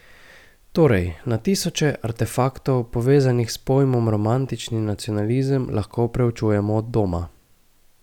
Torej na tisoče artefaktov, povezanih s pojmom romantični nacionalizem, lahko proučujemo od doma.